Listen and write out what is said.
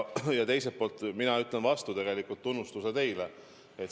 Ja teiselt poolt mina ütlen vastu tegelikult tunnustuse teile.